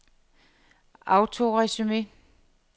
autoresume